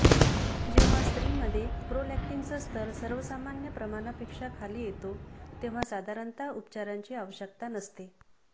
जेव्हा स्त्रीमध्ये प्रोलॅक्टिनचा स्तर सर्वसामान्य प्रमाणापेक्षा खाली येतो तेव्हा साधारणतः उपचारांची आवश्यकता नसते